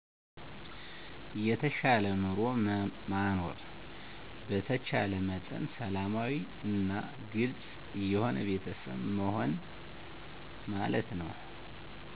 የተሻለ ኑሮ ማኖር በተቻለ መጠን ሰላማዊ እና ግልፅ የሆነ ቤተሰብ መሆን